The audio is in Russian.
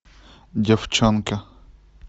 девчонки